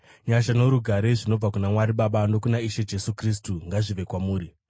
Nyasha norugare zvinobva kuna Mwari Baba nokuna Ishe Jesu Kristu ngazvive kwamuri.